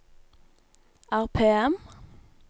RPM